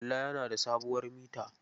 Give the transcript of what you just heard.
Kalla yana da sabuwar mita.